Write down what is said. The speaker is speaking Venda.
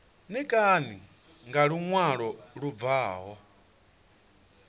ṋekane nga luṅwalo lu bvaho